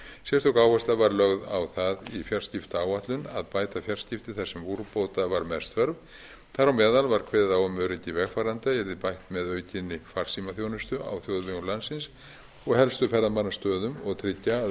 sérstök áhersla var lögð á það í fjarskiptaáætlun að bæta fjarskipti þar sem úrbóta var mest þörf þar á meðal var kveðið á um að öryggi vegfarenda yrði bætt með aukinni farsímaþjónustu á þjóðvegum landsins og helstu ferðamannastöðum og tryggja að